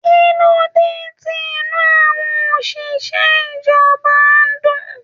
Kilode tí inú àwọn oṣiṣẹ ìjọba n dùn.